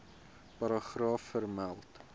paragraaf vermeld